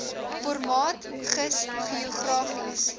formaat gis geografiese